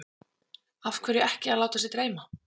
Lillý: Hvernig finnst þér frambjóðendurnir hafa verið?